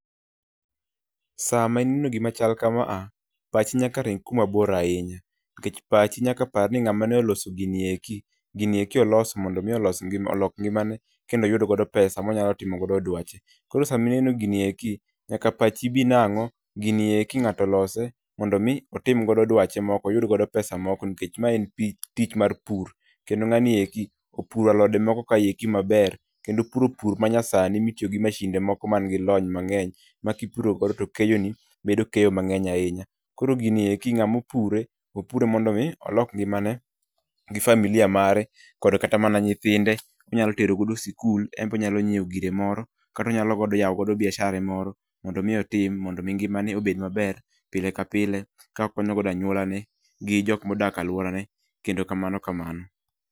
Sama ineo gima chal kama a , pachi nyaka ring kuma bor ahinya nikech pachi nyaka par ni ng'ama ne oloso gini eki, gini eki olos mondo mi olos olok ngimane, kendo oyud godo pesa ma onyalo timo godo dwache. Koro sama ineno gini eki, nyaka pachi bi nang'o gini eki ng'ato olose mondo i otim godo dwache moko oyud godo pesa moko nikech ma en pi en tich mar pur, kendo ng'ani eki opuro alode moko kaeki maber. Kendo opuro pur ma nyasani mitiyo gi mashinde moko man gi lony mang'eny ma ka ipuro godo to keyoni bedo keyo mang'eny ahinya. Koro gini eki ng'ama opure, opure mondo mi olok ngimane gi familia mare koda kata mana nyithinde onyalo tero godo sikul en be onyalo nyieo gire moro kata onyalo yao godo biashara ne moro mondo mi otim mondo mi ngimane obed maber, pile ka pile ka okonyo godo anywola ne gi jok ma odak e alworane kendo kamano kamano .